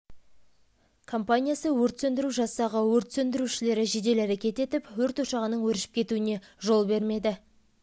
компаниясы өрт сөндіру жасағы өрт сөндірушілері жедел әрекет етіп өрт ошағының өршіп кетуіне жол бермеді